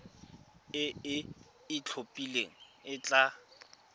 e e itlhophileng e tla